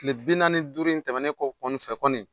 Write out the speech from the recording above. Tile bi naani ni duuru in tɛmɛnen kɔ kɔni fɛ kɔni